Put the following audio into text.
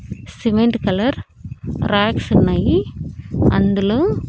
cement colour ర్యాక్సున్నాయి అందులో--